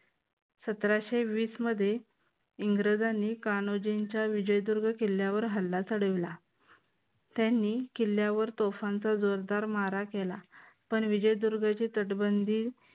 सतराशे वीस मध्ये इंग्रजांनी कान्होजींच्या विजयदुर्ग किल्ल्यावर हल्ला चढविला. त्यांनी किल्ल्यावर तोफांचा जोरदार मारा केला. पण विजयदुर्गची तटबंदी